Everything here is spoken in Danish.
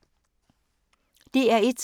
DR1